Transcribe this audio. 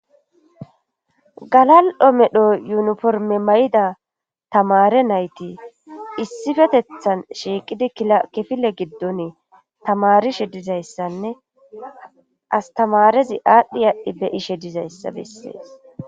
galal7o medho yuniforme may7ida tamare nayti issifetethan shiiqidi kifile giddon tamarishe dizayssanne astamarezi aadhdhi aadhdhi be'ishe dizayssa bessees